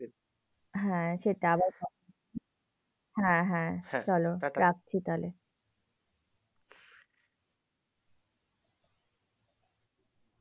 হ্যাঁ সেটা আবার কথা। হ্যাঁ হ্যা চলো, রাখছি তাহলে?